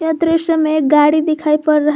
दृश्य में एक गाड़ी दिखाई पड़ रहा--